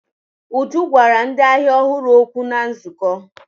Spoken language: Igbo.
Uju gwara ndị ahịa ọhụrụ okwu na nzukọ.